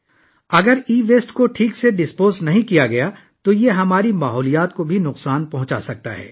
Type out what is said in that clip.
اگر e waste کو صحیح طریقے سے ٹھکانے نہ لگایا جائے تو یہ ہمارے ماحولیات کے لیے نقصادن دہ ہو سکتا ہے